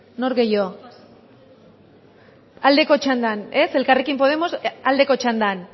nor gehiago aldeko txandan ez elkarrekin podemos aldeko txandan